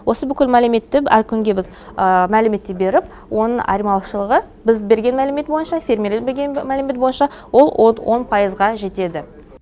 осы бүкіл мәліметті әр күнге біз мәліметтеп беріп оның айырмашылығы біз берген мәлімет бойынша фермерлер берген мәлімет бойынша ол он пайызға жетеді